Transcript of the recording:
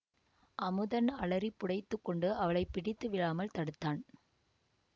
அமுதன் அலறிப் புடைத்துக் கொண்டு அவளை பிடித்து விழாமல் தடுத்தான்